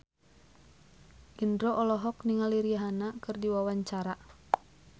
Indro olohok ningali Rihanna keur diwawancara